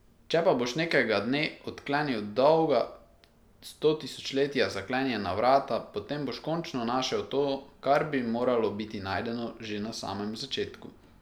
Če pa boš nekega dne odklenil dolga stotisočletja zaklenjena vrata, potem boš končno našel to, kar bi moralo biti najdeno že na samem začetku.